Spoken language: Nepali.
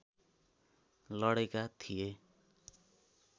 लडेका थिए